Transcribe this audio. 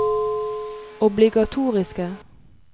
obligatoriske